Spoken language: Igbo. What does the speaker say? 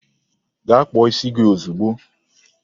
Gaa kpụọ isi gi ozigbo!